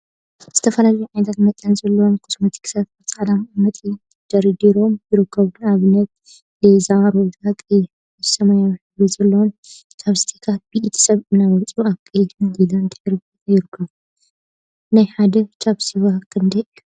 ዝተፈላለዩ ዓይነትን መጠንን ዘለዎም ኮስሞቲክሳት አብ ፃዕዳ መቀመጢ ተደርዲሮም ይርከቡ፡፡ ንአብነት ሊላ፣ ሮዛ፣ ቀይሕ፣ አራንሺን ሰማያዊን ሕብሪ ዘለዎም ቻፕስቲካት ብኢድ ሰብ እናወፁ አብ ቀይሕን ሊላን ድሕረ ባይታ ይርከቡ፡፡ ናይ ሓደ ቻስቲክ ዋጋ ክንደይ እዩ?